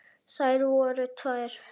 Þær voru tvær.